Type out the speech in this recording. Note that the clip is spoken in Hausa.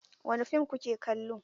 Wani fim ku ke kallo?